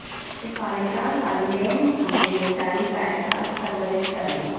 سفارشات والدین کی ذمہ داری کا احساس پرورش کرنے